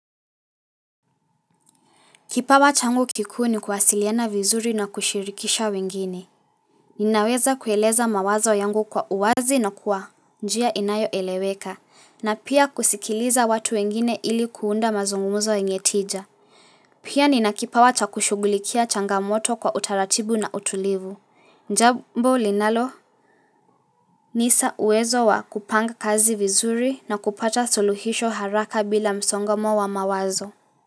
Kipawa changu kikuu ni kuwasiliana vizuri na kushirikisha wengine. Ninaweza kueleza mawazo yangu kwa uwazi na kwa njia inayoeleweka, na pia kusikiliza watu wengine ili kuunda mazungumuzo yenye tija. Pia nina kipawa cha kushugulikia changamoto kwa utaratibu na utulivu, jambo linalo nisa uwezo wa kupanga kazi vizuri na kupata suluhisho haraka bila msongamo wa mawazo.